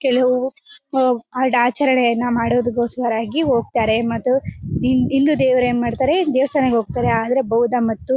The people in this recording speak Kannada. ಕೆಲವು ಆಚರಣೆ ಮಾಡೋದಕ್ಕೋಸ್ಕರ ಆಗಿ ಹೋಗ್ತಾರೆ ಮತ್ತೆ ಹಿಂದೂ ದೇವ್ರು ಏನ್ ಮಾಡ್ತಾರೆ ದೇವಸ್ಥಾನಕೆ ಹೋಗ್ತಾರೆ ಆದ್ರೆ ಬೌದ್ಧ ಮತ್ತು --